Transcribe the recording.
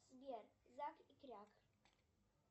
сбер зак и кряк